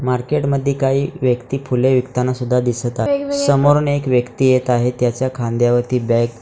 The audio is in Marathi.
मार्केट मध्ये काही व्यक्ती फुले विकताना सुद्धा दिसत आहेत समोरून एक व्यक्ती येत आहे त्याच्या खांद्यावरती बॅग --